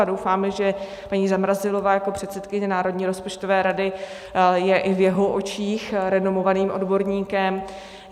A doufáme, že paní Zamrazilová jako předsedkyně Národní rozpočtové rady je i v jeho očích renomovaným odborníkem.